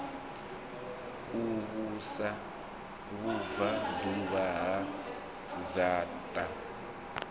u vhusa vhubvaḓuvha ha dzaṱa